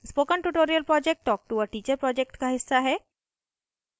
spoken tutorial project talktoa teacher project का हिस्सा है